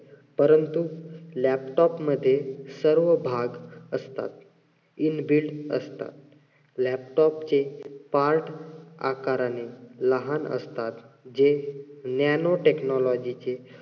परंतु laptop मध्ये सर्व भाग असतात. inbuilt असतात. laptop चे part आकाराने लहान असतात. जे nano technology चे